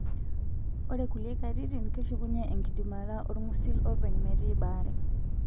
Ore kulie katitin, keshukunye enkidimata olngusil openy metii baare.